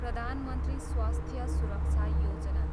प्रधान मन्त्री स्वास्थ्य सुरक्षा योजना